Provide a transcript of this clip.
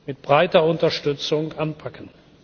mit breiter Unterstützung anpacken.